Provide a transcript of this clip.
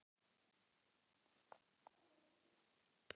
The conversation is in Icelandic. Kannski er íslenska stálið að kikka inn?